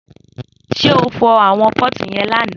Só fọ̀ àwọn pọti yen làná?